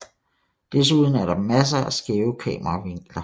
Desuden er der masser af skæve kameravinkler